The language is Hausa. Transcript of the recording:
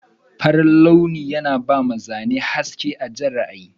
Farin launi yana bama Zane haske a Jan ra'ayi.